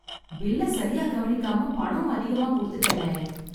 பில்ல சரியா கவனிக்காம, பணம் அதிகமா குடுத்துட்டேனே...